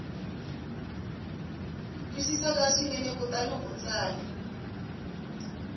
twisisaka swinene kutani u tsala